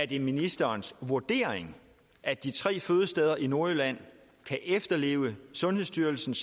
det ministerens vurdering at de tre fødesteder i nordjylland kan efterleve sundhedsstyrelsens